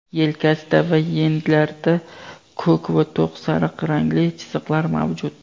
yelkasida va yenglarida ko‘k va to‘q sariq rangli chiziqlar mavjud.